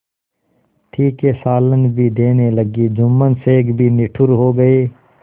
तीखे सालन भी देने लगी जुम्मन शेख भी निठुर हो गये